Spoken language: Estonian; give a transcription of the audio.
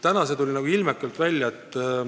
Täna tuli see ilmekalt välja.